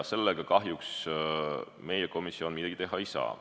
Sellega kahjuks meie komisjon midagi teha ei saa.